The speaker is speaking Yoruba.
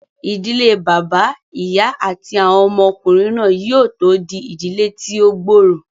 Ìdílé bàbá, ìyá àti àwọn ọmọ ọkùnrin náà yóò tó di ìdílé tí ó gbòòrò